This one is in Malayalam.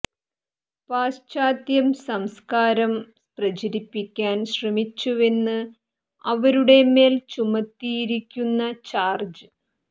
പാശ്ചാത്യം സംസ്കാരം പ്രചരിപ്പിക്കാൻ ശ്രമിച്ചുവെന്നാണ് അവരുടെ മേൽ ചുമത്തിയിരിക്കുന്ന ചാർജ്